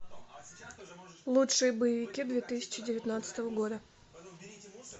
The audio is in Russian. лучшие боевики две тысячи девятнадцатого года